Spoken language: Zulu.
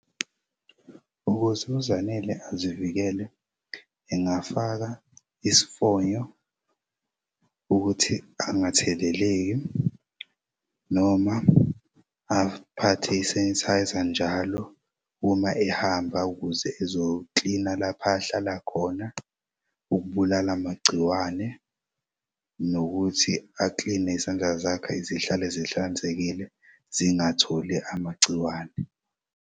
Ukuze uZanele azivikele engafaka isifonyo ukuthi angatheleleki noma aphathe isenithayza njalo uma ehamba ukuze ezo-clean-na laph' ahlala khona ukubulala magciwane nokuthi a-clean-ne izandla zakhe zihlale zihlanzekile zingatholi amagciwane.